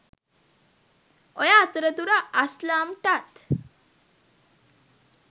ඔය අතරතුර අස්ලම්ටත්